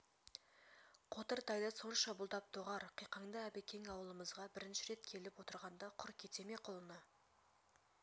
қотыр тайды сонша бұлдап доғар қиқаңды әбекең ауылымызға бірінші рет келіп отырғанда құр кете ме қолына